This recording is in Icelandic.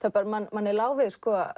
manni lá við